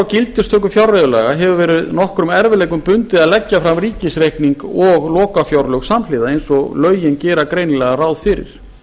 gildistöku fjárreiðulaga hefur verið nokkrum erfiðleikum bundið að leggja fram ríkisreikning og lokafjárlög samhliða eins og lögin gera greinilega ráð fyrir